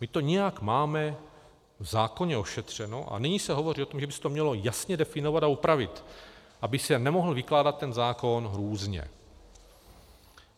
My to nějak máme v zákoně ošetřeno a nyní se hovoří o tom, že by se to mělo jasně definovat a upravit, aby se nemohl vykládat ten zákon různě.